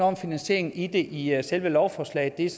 om finansieringen i i selve lovforslaget det er